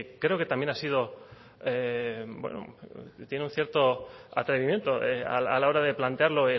creo que también ha sido ha tenido un cierto atrevimiento a la hora de plantearlo